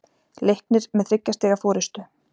Leiknir með þriggja stiga forystu